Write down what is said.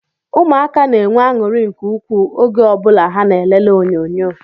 Ụmụaka na-enwe anuri nke ukwuu oge o bula ha na elele onyonyo